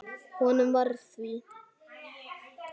Honum varð að því.